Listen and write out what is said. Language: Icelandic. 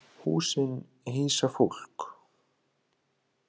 Húsin hýsa fólk.